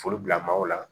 Foli bila maaw la